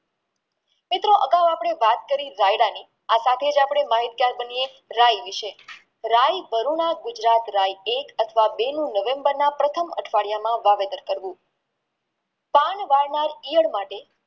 મિત્રો અગાવ અપને વાત કરી વાયરાની આ સાથે જ આપણે માહિત ગાર બનિએ રે વિશે રે વરુણ ગુજરાત રે એક અથવ બે નવેમ્બર ના પ્રથમ અઠવાડિયામાં વાવેતર કરવું પાન વાવવા ઈયળ માટે